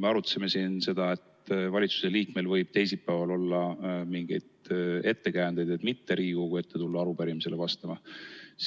Me arutasime siin seda, et valitsuse liikmel võib olla mingeid ettekäändeid mitte tulla teisipäeval Riigikogu ette arupärimisele vastama,